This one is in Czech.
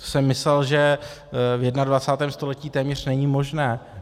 To jsem myslel, že v 21. století téměř není možné.